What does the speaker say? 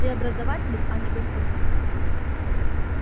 преобразователем а не господином